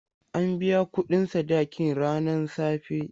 An biya kuɗin sadakin ranan safe.